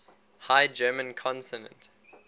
high german consonant